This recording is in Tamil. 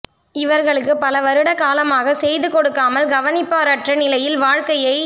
இவர்களுக்கு பல வருட காலமாக செய்து கொடுக்காமல் கவனிப்பாரற்ற நிலையில் வாழ்க்கையை